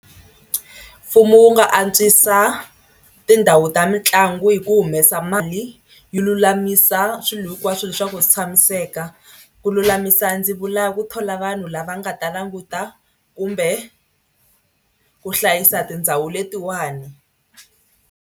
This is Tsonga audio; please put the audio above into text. Mfumo wu nga antswisa tindhawu ta mitlangu hi ku humesa mali yi lulamisa swilo hinkwaswo swa ku swi tshamiseka. Ku lulamisa ndzi vula ku thola vanhu lava nga ta languta kumbe ku hlayisa tindhawu letiwani.